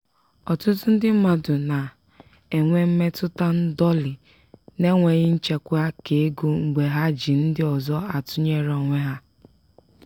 ọtụtụ ndị mmadụ na-enwe mmetụta ndọlị n'enweghị nchekwa keego mgbe ha ji ndị ọzọ atụnyere onwe ha.